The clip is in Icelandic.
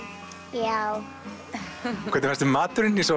já hvernig fannst þér maturinn ég sá